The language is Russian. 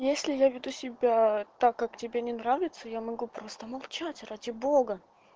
если я веду себя так как тебе не нравится я могу просто молчать ради бога